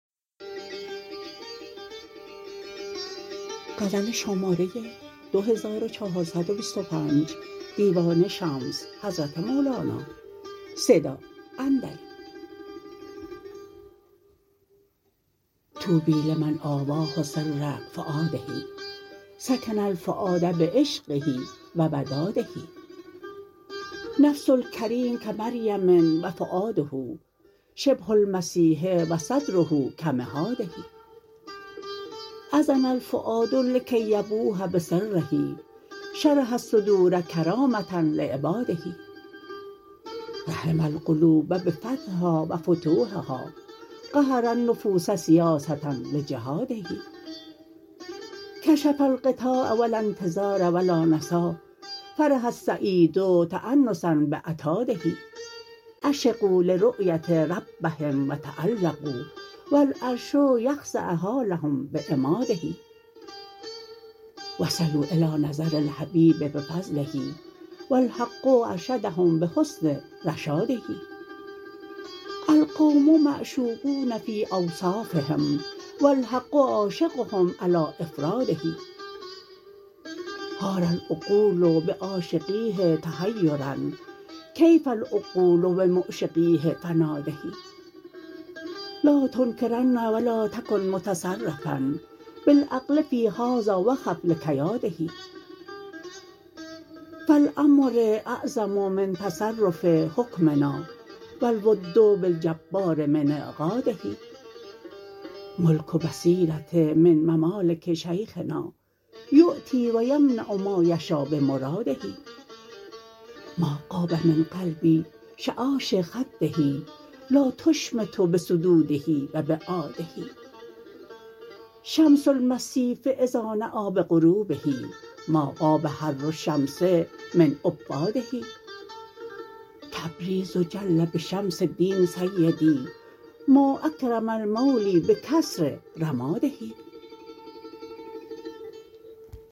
طوبی لمن آواه سر فؤاده سکن الفؤاد بعشقه و وداده نفس الکریم کمریم و فؤاده شبه المسیح و صدره کمهاده اذن الفؤاد لکی یبوح بسره شرح الصدور کرامه لعباده رحم القلوب بفتح ها و فتوح ها قهر النفوس سیاسه لجهاده کشف الغطاء و لا انتظار و لا نسا فرح السعید تانسا بعتاده عشقوا لرأیه ربهم و تعلقوا و العرش یخضع حالهم بعماده و صلوا الی نظر الحبیب بفضله و الحق ارشدهم بحسن رشاده القوم معشوقون فی اوصافهم و الحق عاشقهم علی افراده حار العقول به عاشقیه تحیرا کیف العقول به معشقیه فناده لا تنکرن و لا تکن متصرفا بالعقل فی هذا و خف لکیاده فالامر اعظم من تصرف حکمنا و الود بالجبار من اعقاده ملک البصیره من ممالک شیخنا یعطی و یمنع ما یشا بمراده ما غاب من قلبی شعاشع خده لا تشمتوا بصدوده و بعاده شمس المصیف اذا نی بغروبه ما غاب حر الشمس من عباده تبریز جل به شمس دین سیدی ما اکرم المولی بکثر رماده